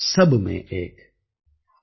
बर्तन में ही भेद है पानी सब में एक ||